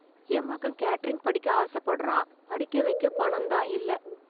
என் மகன் கேட்டரிங் படிக்க ஆசப்படுறான் . படிக்க வைக்க பணம் தான் இல்ல.